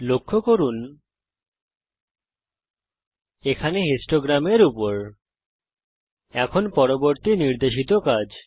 লক্ষ্য করুন এখানে বারলেখার উপর এখন পরবর্তী নির্দেশিত কাজ